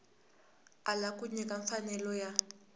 ala ku nyika mfanelo ya